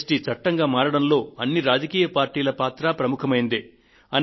G S T చట్టంగా మారడంలో అన్ని రాజకీయ పార్టీల పాత్ర ప్రముఖమైందే